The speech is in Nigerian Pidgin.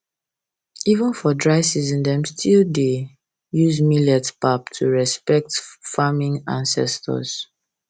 even for dry season dem still dey dem still dey use millet pap to respect farming ancestors